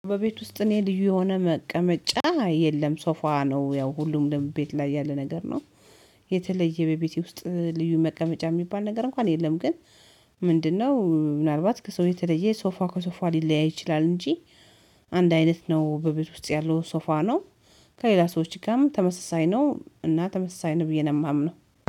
በቤት ውስጥ እኔ ልዩ የሆነ መቀመጫ የለም ሶፋ ነው ያው ሁሉም ለቤት ላይ ያለ ነገር ነው። የተለየ በቤቴ ውስጥ ልዩ መቀመጫ የሚባል ነገር እንኳን የለም። ግን ምንድነው? ምናልባት ከሰው የተለየ ሶፋ ከሶፋ ሊለያይ ይችላል እንጂ። አንድ አይነት ነው በቤት ውስጥ ያለው ሶፋ ነው። ከሌላ ሰዎች ጋርም ተመሳሳይ ነው እና ተመሳሳይ ነው ብዬ ነው የማምነው።